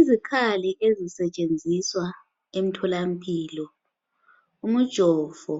Izikhali ezisetshenziswa emtholampilo umujovo